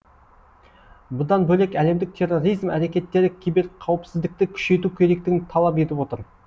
бұдан бөлек әлемдік терроризм әрекеттері киберқауіпсіздікті күшейту керектігін талап етіп отыр